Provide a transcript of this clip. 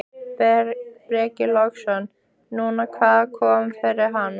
Breki Logason: Nú, hvað kom fyrir hana?